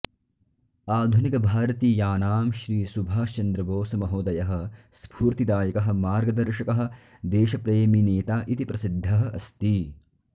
आधुनिकभारतीयानां श्री सुभाषचन्द्रबोसमहोदयः स्फूर्तिदायकः मार्गदर्शकः देशप्रेमिनेता इति प्रसिद्धः अस्ति